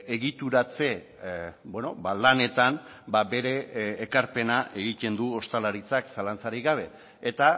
egituratze lanetan bere ekarpena egiten du ostalaritzak zalantzarik gabe eta